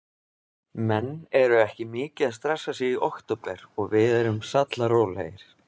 Menn eru ekki mikið að stressa sig í október og við erum sallarólegir.